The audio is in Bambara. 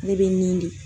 Ne bɛ nin de